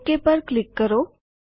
okay પર click કરો